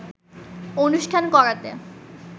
অনুষ্ঠান করাতে